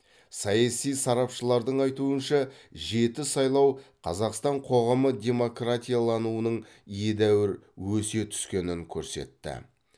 саяси сарапшылардың айтуынша жеті сайлау қазақстан қоғамы демократиялануының едәуір өсе түскенін көрсетті